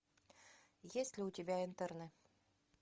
есть ли у тебя интерны